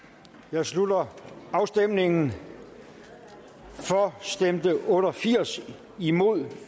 jeg slutter afstemningen for stemte otte og firs imod